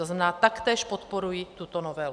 To znamená, taktéž podporují tuto novelu.